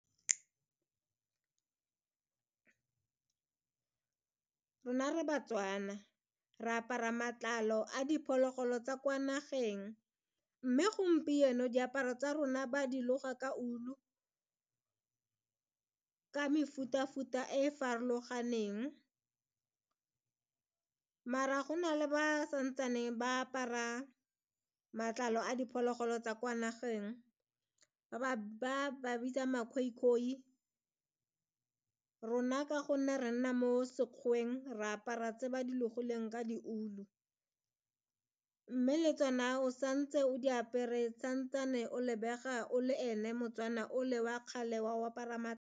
Rona re ba-Tswana, re apara matlalo a diphologolo tsa kwa nageng mme gompieno diaparo tsa rona ba dilo ga ka wool-u ka mefuta-futa e e farologaneng mara go na le ba santsane ba apara matlalo a diphologolo tsa kwa nageng ba ba bitsa ma-Khoikhoi. Rona ka gonne re nna mo Sekgoweng re apara tse ba di logileng ka di ulu mme le tsona o santse o di apere santsane o lebega o le ene mo-Tswana ole wa kgale wa go apara .